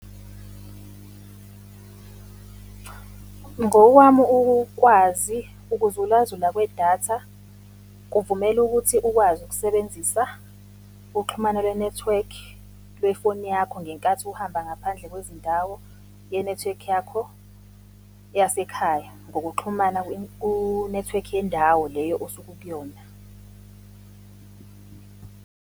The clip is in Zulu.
Ngokwami ukwazi, ukuzula zula kwedatha, kuvumela ukuthi ukwazi ukusebenzisa uxhumano le-network lwe-phone yakho ngenkathi uhamba ngaphandle kwezindawo ye-network yakho yasekhaya ngokuxhumana ku-network yendawo leyo osuke ukuyona.